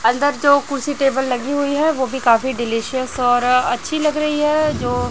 अंदर से जो कुर्सी टेबल लगी हुई है वह भी काफी डिलीशियस और अच्छी लग रही है जो--